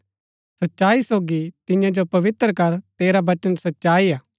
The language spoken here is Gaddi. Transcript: सच्चाई सोगी तियां जो पवित्र कर तेरा वचन सच्चाई हा